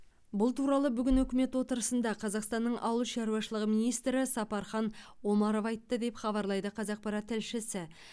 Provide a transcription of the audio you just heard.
бұл туралы бүгін үкімет отырысында қазақстанның ауыл шаруашылығы министрі сапархан омаров айтты деп хабарлайды қазақпарат тілшісі